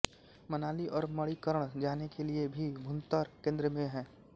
मनाली और मणिकर्ण जाने के लिये भी भुंतर केन्द्र में है